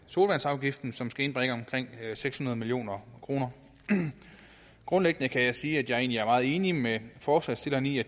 sodavandsafgiften som skal indbringe omkring seks hundrede million kroner grundlæggende kan jeg sige at jeg meget enig med forslagsstillerne i at